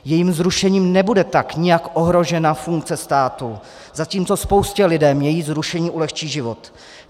Jejím zrušením tak nebude nijak ohrožena funkce státu, zatímco spoustě lidem její zrušení ulehčí život.